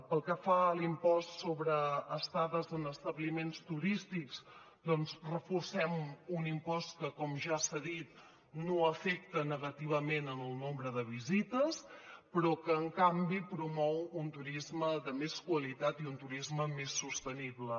pel que fa a l’impost sobre estades en establiments turístics doncs reforcem un impost que com ja s’ha dit no afecta negativament en el nombre de visites però que en canvi promou un turisme de més qualitat i un turisme més sostenible